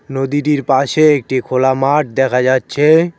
নদীটির পাশে একটি খোলা মাঠ দেখা যাচ্ছে।